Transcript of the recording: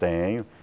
Tenho.